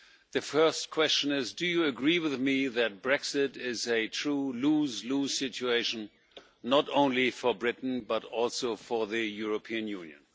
The first question is do you agree with me that Brexit is a true lose lose situation, not only for Britain but also for the European Union?